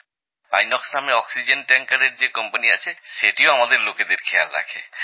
INOX নামে oxygen ট্যাঙ্কারএর যে কোম্পানি আছে সেটিও আমাদের লোকেদের খেয়াল রাখে